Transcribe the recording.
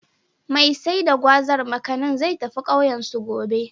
Mai sai da Gwazar/Makanin, zai tafi ƙauyensu, gobe.